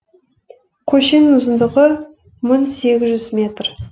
көшенің ұзындығы мың сегіз жүз метр